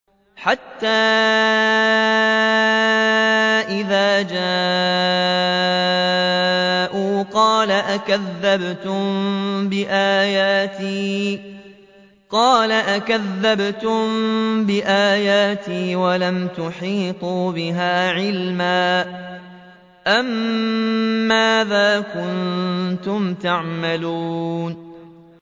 حَتَّىٰ إِذَا جَاءُوا قَالَ أَكَذَّبْتُم بِآيَاتِي وَلَمْ تُحِيطُوا بِهَا عِلْمًا أَمَّاذَا كُنتُمْ تَعْمَلُونَ